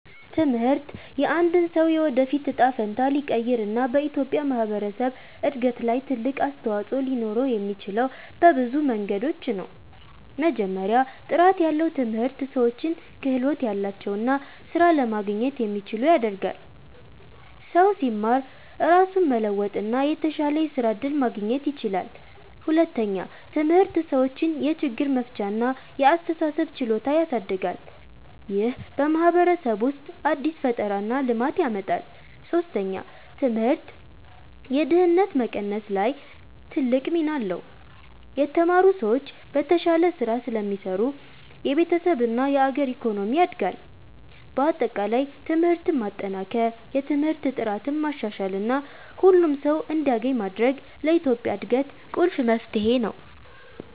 ትምህርት የአንድን ሰው የወደፊት እጣ ፈንታ ሊቀይር እና በኢትዮጵያ ማህበረሰብ እድገት ላይ ትልቅ አስተዋፅኦ ሊኖረው የሚችለው በብዙ መንገዶች ነው። መጀመሪያ፣ ጥራት ያለው ትምህርት ሰዎችን ክህሎት ያላቸው እና ስራ ለማግኘት የሚችሉ ያደርጋል። ሰው ሲማር ራሱን መለወጥ እና የተሻለ የስራ እድል ማግኘት ይችላል። ሁለተኛ፣ ትምህርት ሰዎችን የችግር መፍቻ እና የአስተሳሰብ ችሎታ ያሳድጋል። ይህ በማህበረሰብ ውስጥ አዲስ ፈጠራ እና ልማት ያመጣል። ሶስተኛ፣ ትምህርት የድህነት መቀነስ ላይ ትልቅ ሚና አለው። የተማሩ ሰዎች በተሻለ ስራ ስለሚሰሩ የቤተሰብ እና የአገር ኢኮኖሚ ያድጋል። በአጠቃላይ ትምህርትን ማጠናከር፣ የትምህርት ጥራትን ማሻሻል እና ሁሉም ሰው እንዲያገኝ ማድረግ ለኢትዮጵያ እድገት ቁልፍ መፍትሄ ነው።